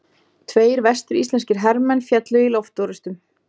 Tveir vestur-íslenskir hermenn féllu í loftorrustum.